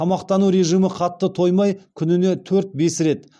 тамақтану режимі қатты тоймай күніне төрт бес рет